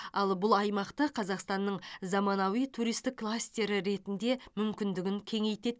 ал бұл аймақты қазақстанның заманауи туристік кластері ретінде мүмкіндігін кеңейтеді